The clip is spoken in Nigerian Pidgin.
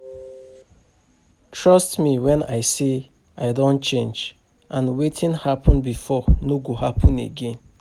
Trust me wen I say I don change and wetin happen before no go happen again